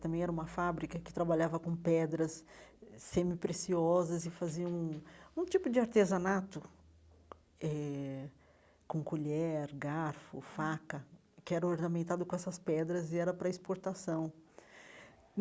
Também era uma fábrica que trabalhava com pedras semipreciosas e fazia um um tipo de artesanato eh com colher, garfo, faca, que era ornamentado com essas pedras e era para exportação.